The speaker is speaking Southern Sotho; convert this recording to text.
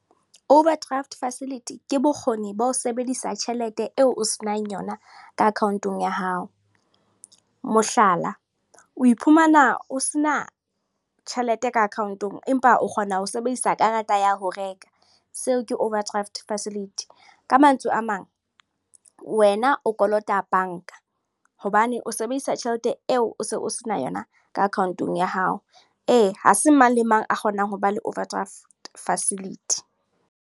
Overdraft facility, ke bokgoni ba ho sebedisa tjhelete eo o se nang yona ka account-ong ya hao. Mohlala, o iphumana o se na tjhelete ka account-ong, empa o kgona ho sebedisa karata ya ho reka. Seo ke overdraft facility. Ka mantswe a mang, wena o kolota banka. Hobane o sebedisa tjhelete eo o se o se na yona ka account-ong ya hao. Ee, ha se mang le mang a kgonang ho ba le overdraft facility.